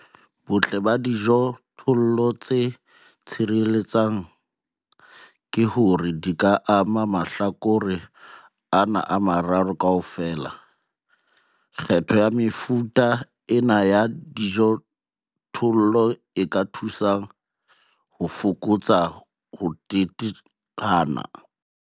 Botle ba dijothollo tse tshireletsang ke hore di ka ama mahlakore ana a mararo kaofela. Kgetho ya mefuta ena ya dijothollo e ka thusa ho fokotsa ho teteana.